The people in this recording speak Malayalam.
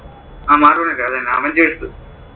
അഹ് marvel അത് തന്നെ avengers